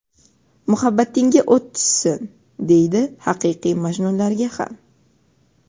"Muhabbatingga o‘t tushsin" deydi haqiqiy majnunlarga ham.